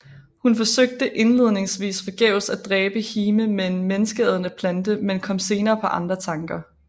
Hun forsøgte indledningsvis forgæves at dræbe Hime med en menneskeædende plante men kom senere på andre tanker